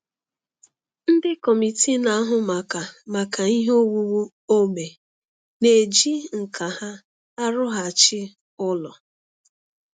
Ndị kọmitii na-ahụ maka maka ihe owuwu ógbè na-eji nkà ha arụghachi ụlọ